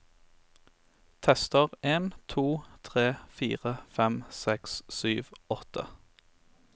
Tester en to tre fire fem seks sju åtte